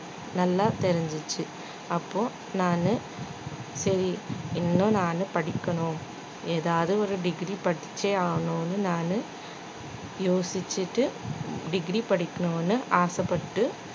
நல்லா தெரிஞ்சுச்சு அப்போ நானு சரி இன்னும் நானு படிக்கணும் ஏதாவது ஒரு degree படிச்சே ஆகணும்னு நானு யோசிச்சிட்டு degree படிக்கணும்னு ஆசைப்பட்டு